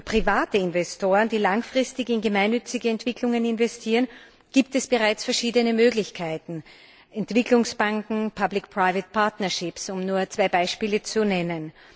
Für private Investoren, die langfristig in gemeinnützige Entwicklungen investieren, gibt es bereits verschiedene Möglichkeiten Entwicklungsbanken, public private partnerships um nur zwei Beispiele zu nennen.